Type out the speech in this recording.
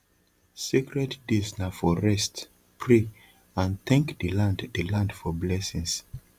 sacred days na for rest pray and thank the land the land for blessings